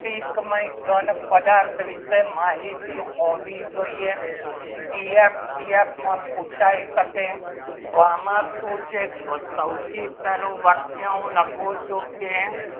એક ઘન પદાર્થ વિશે માહિતી હોવી જોઈએ સીઆરપીએફમાં પુછાય શકે તો આમાં શું છે સૌથી પહેલું લખો છો કે